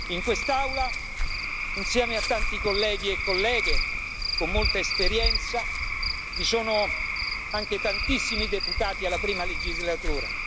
In quest'Aula, insieme a tanti colleghi e colleghe con molta esperienza, vi sono anche tantissimi deputati alla prima legislatura.